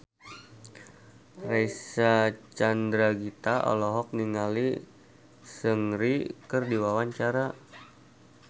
Reysa Chandragitta olohok ningali Seungri keur diwawancara